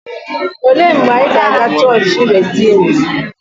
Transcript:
Olee mgbe anyị ga-aga chọọchị Rediimdu?